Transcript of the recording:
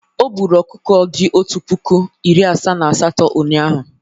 O gburu ọkụkọ dị otu puku, iri asaa na asatọ ụnyaahụ.